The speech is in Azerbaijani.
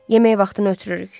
Yemək vaxtını ötürürük.